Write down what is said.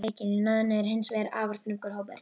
Í náðinni er hins vegar afar þröngur hópur.